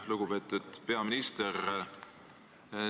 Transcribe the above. Lugupeetud peaminister!